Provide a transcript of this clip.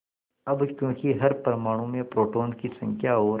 अब क्योंकि हर परमाणु में प्रोटोनों की संख्या और